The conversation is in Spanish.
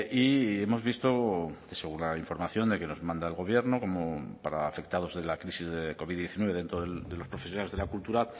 y hemos visto según la información que nos manda el gobierno como para afectados de la crisis de covid diecinueve dentro de los profesionales de la cultura